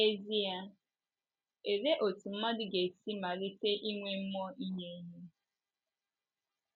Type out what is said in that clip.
N’ezie, olee otú mmadụ ga-esi malite inwe mmụọ inye ihe?